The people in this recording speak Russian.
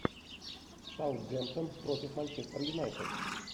саутгемптон против манчестер юнайтед